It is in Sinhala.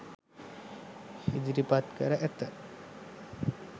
ඉදිරිපත් කර ඇත